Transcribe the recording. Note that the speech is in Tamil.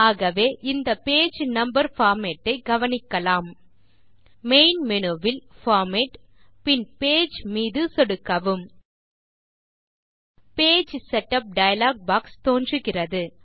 ஆகவே இந்த பேஜ் நம்பர் பார்மேட் ஐ கவனிக்கலாம் மெயின் மேனு வில் பார்மேட் பின் பேஜ் மீது சொடுக்கவும் பேஜ் செட்டப் டயலாக் பாக்ஸ் தோன்றுகிறது